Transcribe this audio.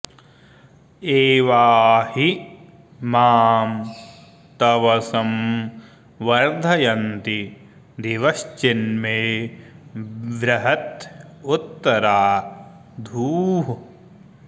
एवा हि मां तवसं वर्धयन्ति दिवश्चिन्मे बृहत उत्तरा धूः